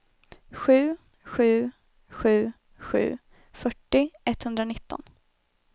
sju sju sju sju fyrtio etthundranitton